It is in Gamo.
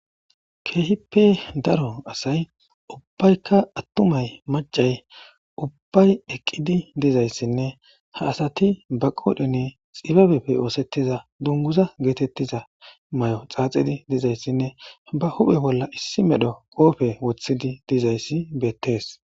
Keehippe daro asay ubbaykka attumay macay ubbay eqqidi dizayssinne ha asati ba qoodhene xibabeppe oosettiza dunguza geetettiza may7o xaaxidi dizayssinne ba huphe bolla issi medho qoofe wothidi dizayssi beettees.